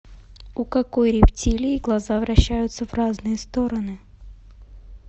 у какой рептилии глаза вращаются в разные стороны